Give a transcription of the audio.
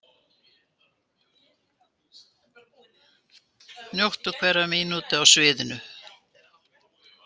Njóta hverrar mínútu á sviðinu